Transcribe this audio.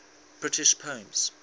british poems